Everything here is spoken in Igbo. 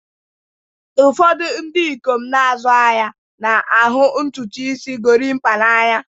Ụfọdụ ndị ikom na-azụ ahịa na-ahụ ntutu isi gorimapa n'anya